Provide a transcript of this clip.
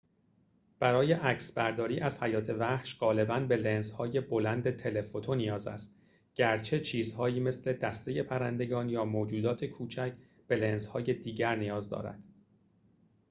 برای عکسبرداری از حیات وحش غالباً به لنزهای بلند تله‌فوتو نیاز است گرچه چیزهایی مثل دسته پرندگان یا موجودات کوچک به لنزهای دیگر نیاز دارد